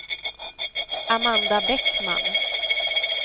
Amanda Bäckman